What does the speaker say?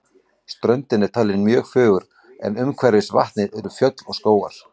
Ströndin er talin mjög fögur en umhverfis vatnið eru fjöll og skógar.